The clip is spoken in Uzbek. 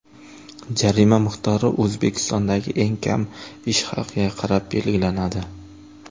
Jarima miqdori O‘zbekistondagi eng kam ish haqiga qarab belgilanadi.